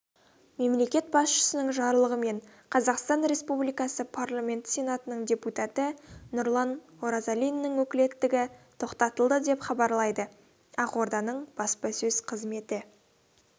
мемлекет басшысының жарлығымен қазақстан республикасы парламенті сенатының депутаты нұрлан оразалиннің өкілеттігі тоқтатылды деп хабарлайдыақорданың баспасөз қызметі